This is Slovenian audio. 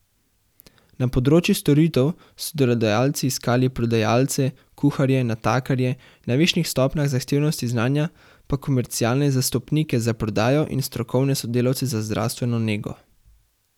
Na področju storitev so delodajalci iskali prodajalce, kuharje, natakarje, na višjih stopnjah zahtevnosti znanja pa komercialne zastopnike za prodajo in strokovne sodelavce za zdravstveno nego.